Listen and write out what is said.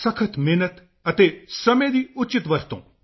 ਸਖ਼ਤ ਮਿਹਨਤ ਅਤੇ ਸਮੇਂ ਦੀ ਉਚਿਤ ਵਰਤੋਂ